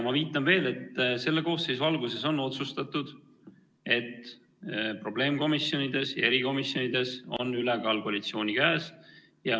Ma viitan veel, et selle koosseisu alguses on otsustatud nii: probleemkomisjonides ja erikomisjonides on ülekaal koalitsiooni käes.